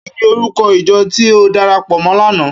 Kini órúkò ijò ti ó dàrápò mò làná?